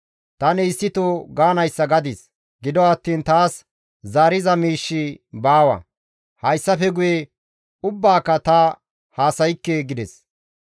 Tani issito gaanayssa gadis; gido attiin taas zaariza miishshi baawa; hayssafe guye ubbaaka ta haasaykke» gides.